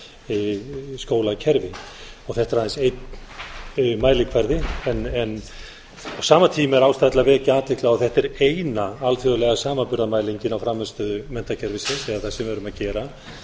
okkar skólakerfi þetta er aðeins einn mælikvarði á sama tíma er ástæða til að vekja athygli á að þetta er eina alþjóðlega samanburðarmælingin á frammistöðu menntakerfisins eða það sem við erum að gera